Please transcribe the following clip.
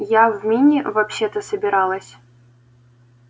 я в мини вообще-то собиралась